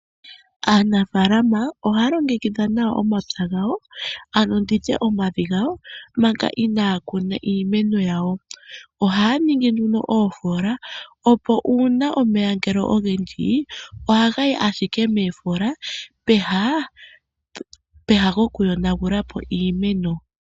Aanafalama oha ya longekidha nawa omapya gawo ano nditye omavi gawo manga inaa kuna iimeno yawo oha ya ningi nduno oofola opo uuna omeya ngele ogendji oha ga yi ashike moofola peha gokuyonagulapo iimeno.